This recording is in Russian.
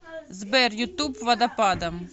сбер ютуб водопадом